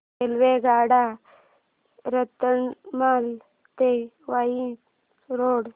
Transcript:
रेल्वेगाड्या रतलाम ते वसई रोड